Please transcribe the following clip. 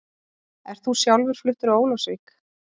Ert þú sjálfur fluttur á Ólafsvík?